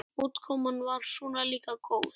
Útkoman var svona líka góð.